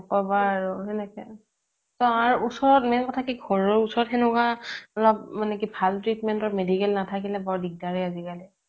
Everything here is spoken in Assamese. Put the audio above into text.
ইহ নকবা আৰু তেনেকে তাৰ ওচৰত কি মানে ঘৰৰ ওচৰত মানে সেনেকুৱা ভাল treatment কৰা medical নাথাকিলে বৰ দিগ্দাৰে আজিকালি